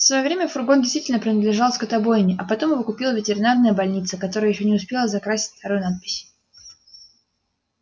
в своё время фургон действительно принадлежал скотобойне а потом его купила ветеринарная больница которая ещё не успела закрасить старую надпись